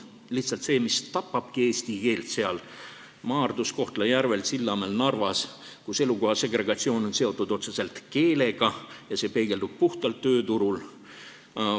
See on lihtsalt see, mis tapabki eesti keelt Maardus, Kohtla-Järvel, Sillamäel ja Narvas, kus elukoha segregatsioon on seotud otseselt keelega ja see peegeldub puhtalt tööturul.